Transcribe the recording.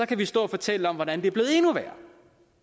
kan vi stå og fortælle om hvordan det er blevet endnu værre